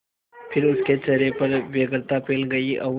फिर उसके चेहरे पर व्यग्रता फैल गई और